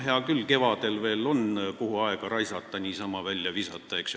Hea küll, kevadel veel on, kuhu aega raisata, saab eelnõu niisama välja visata, eks ju.